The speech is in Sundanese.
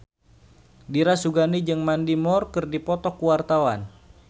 Dira Sugandi jeung Mandy Moore keur dipoto ku wartawan